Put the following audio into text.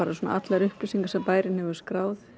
allar upplýsingar sem bærinn hefur skráð